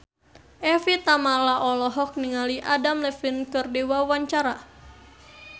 Evie Tamala olohok ningali Adam Levine keur diwawancara